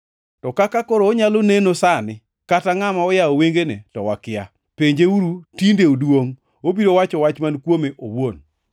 To kaka koro onyalo neno sani, kata ngʼama noyawo wengene, to wakia. Penjeuru, tinde oduongʼ. Obiro wacho wach kuome owuon.”